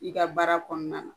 I ka baara kɔnɔna na